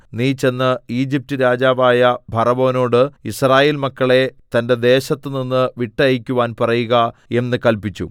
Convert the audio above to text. നീ ചെന്ന് ഈജിപ്റ്റ് രാജാവായ ഫറവോനോട് യിസ്രായേൽ മക്കളെ തന്റെ ദേശത്തുനിന്ന് വിട്ടയയ്ക്കുവാൻ പറയുക എന്ന് കല്പിച്ചു